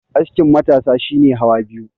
askin matasa shi ne hawa biyu